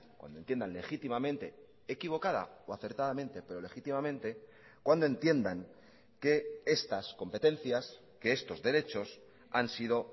cuando entiendan legítimamente equivocada o acertadamente pero legítimamente cuando entiendan que estas competencias que estos derechos han sido